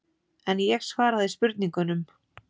En ég svaraði spurningunum.